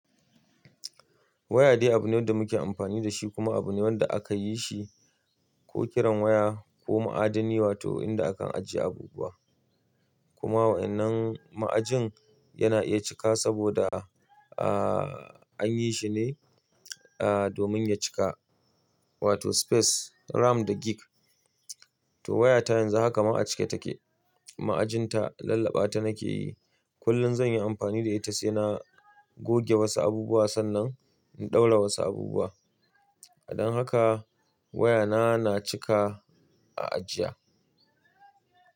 Waya dai abu ne wanda muke amfani da shi kuma abu ne wanda aka yi shi ko kiran waya ko ma'adani wato inda akan ajiye abubuwa. Kuma waɗannan ma'ajin yana iya cika saboda, ahhh, an yi shi ne, ahhh, domin ya cika wato space, RAM da gig. To wayata yanzu haka ma ake cike take. Ma'ajinta lallaɓa ta nake yi. Kullum zan yi amfani da ita sai na goge wasu abubuwa sannan in ɗaura wasu abubuwa. Dan haka wayana na cika a ajiya.